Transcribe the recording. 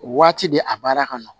Waati de a baara ka nɔgɔn